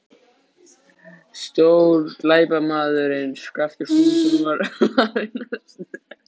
Stórglæpamaðurinn Skapti Skúlason var farinn að snökta!